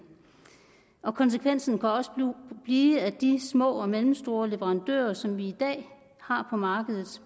konsekvensen kan også blive at de små og mellemstore leverandører som vi i dag har på markedet